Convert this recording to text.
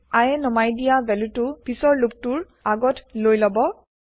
I এ নমাই দিয়া ভেলুটো পিছৰ লুপটো ৰ আগত লৈ লব